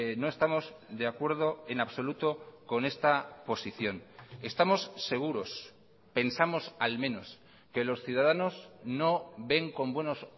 no estamos de acuerdo en absoluto con esta posición estamos seguros pensamos al menos que los ciudadanos no ven con buenos